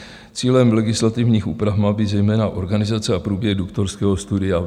Cílem legislativních úprav má být zejména organizace a průběh doktorského studia.